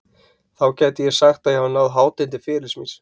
Þá gæti ég sagt að ég hafi náð hátind ferilsins míns.